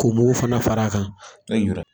K'o mugu fana far'a kan .